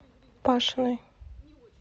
пашиной